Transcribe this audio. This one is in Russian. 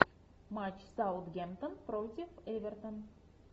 матч саутгемптон против эвертон